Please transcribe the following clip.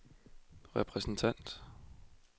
repræsentant